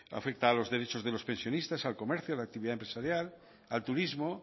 afecta a los derechos de los pensionistas al comercio a la actividad empresarial al turismo